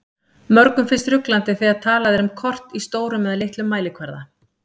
Mörgum finnst ruglandi þegar talað er um kort í stórum eða litlum mælikvarða.